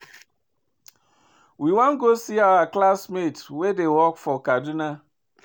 We wan go see our classmate wey dey work for Kaduna